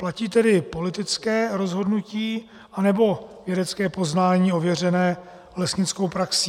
Platí tedy politické rozhodnutí, anebo vědecké poznání ověřené lesnickou praxí?